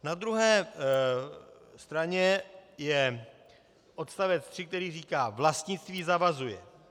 Na druhé straně je odstavec 3, který říká: Vlastnictví zavazuje.